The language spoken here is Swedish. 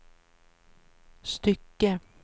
stycke